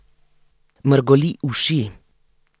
Mrgoli uši.